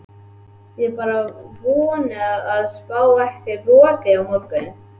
Ég vona bara að það spái ekki roki á morgun.